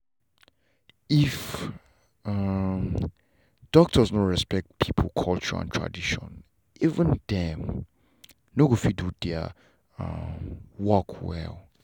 if um doctors no respect people culture and traditions even them.no go fit do their um work well